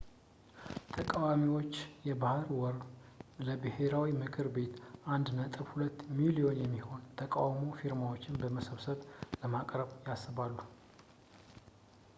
ተቃዋሚዎች በሕዳር ወር ለብሔራዊ ምክር ቤት 1.2 ሚሊዮን የሚሆን የተቃውሞ ፊርማዎችን በመሰብሰብ ለማቅረብ ያስባሉ